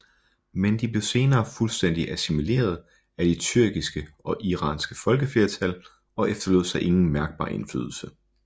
Men de blev senere fuldstændig assimileret af de tyrkiske og iranske folkeflertal og efterlod sig ingen mærkbar indflydelse